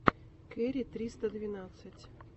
кэрри триста двенадцать